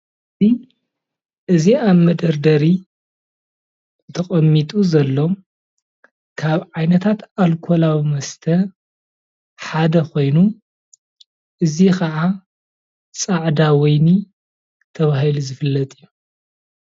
እዚ አብ መደርደሪ ተቀሚጡ ዘሎ ካብ ዓይነታት አልኮላዊ መስተ ሓደ ኮይኑ እዚ ከዓ ፃዕዳ ወይኒ ተባሂሉ ዝፈለጥ እዩ፡፡